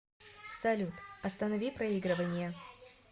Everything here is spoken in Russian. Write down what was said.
салют останови проигрывание